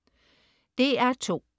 DR2: